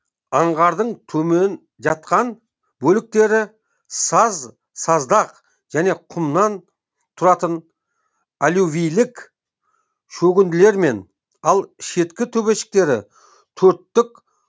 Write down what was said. аңғардың төмен жатқан бөліктері саз саздақ және құмнан тұратын аллювийлік шөгінділермен ал шеткі төбешіктері төрттік